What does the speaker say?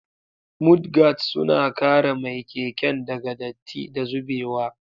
Mudguards suna kare mai keken daga datti da zubewa.